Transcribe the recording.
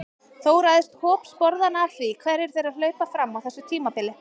Þó ræðst hop sporðanna af því hverjir þeirra hlaupa fram á þessu tímabili.